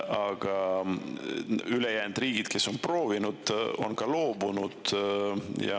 Aga ülejäänud riigid, kes on proovinud, on loobunud.